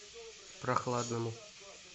прохладному